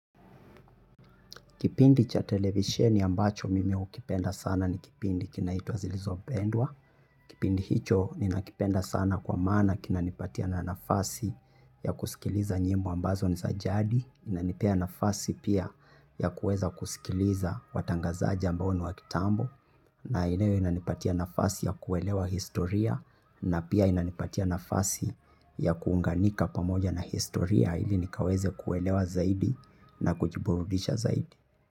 Kipindi cha televisheni ambacho mimi hukipenda sana ni kipindi kinaitwa zilizopendwa. Kipindi hicho ninakipenda sana kwa maana kinanipatia na nafasi ya kusikiliza nyimbo ambazo ni za jadi. Inanipea nafasi pia ya kuweza kusikiliza watangazaja ambao ni wa kitambo. Na inayonipatia nafasi ya kuelewa historia na pia inanipatia nafasi ya kuunganika pamoja na historia ili nikaweze kuelewa zaidi na kujiburudisha zaidi.